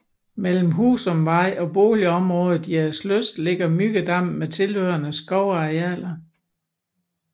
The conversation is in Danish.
Mellem Husumvej og boligområdet Jægerlyst ligger Myggedammen med tilhørende skovarealer